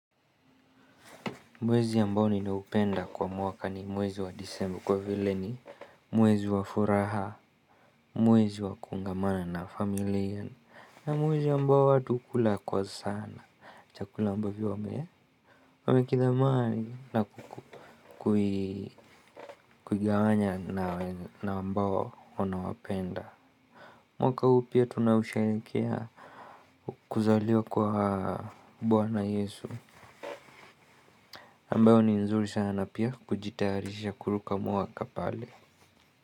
Mwezi ambao ninaupenda kwa mwaka ni mwezi wa disemba kwa vile ni mwezi wa furaha, mwezi wa kuungamana na familia. Na mwezi ambao watu ukula kwa sana, chakula ambavyo wamekithamani na kuigawanya na ambao wanawapenda. Mwaka huu pia tunausherekea kuzaliwa kwa bwana yesu ambayo ni nzuri sana pia kujitayarisha kuruka mwaka pale.